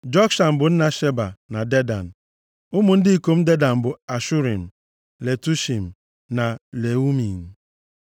Jokshan bụ nna Sheba na Dedan. Ụmụ ndị ikom Dedan bụ Ashurim, Letushim, na Leumim.